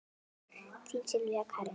Þín Sylvía Karen.